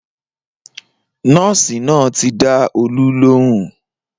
Nọ́ọ̀sì náà ti dá Olú lóhùn